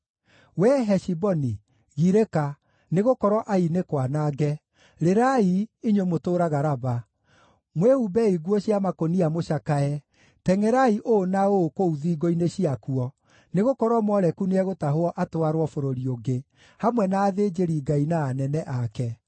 “Wee Heshiboni, girĩka, nĩgũkorwo Ai nĩ kwanange! Rĩrai, inyuĩ mũtũũraga Raba! Mwĩhumbei nguo cia makũnia mũcakae; Tengʼerai ũũ na ũũ kũu thingo-inĩ ciakuo, nĩgũkorwo Moleku nĩegũtahwo atwarwo bũrũri ũngĩ, hamwe na athĩnjĩri-ngai na anene ake.